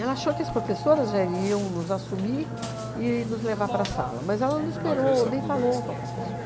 Ela achou que as professoras já iriam nos assumir e nos levar para a sala, mas ela não esperou, nem falou com a professora.